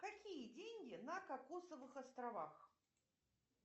какие деньги на кокосовых островах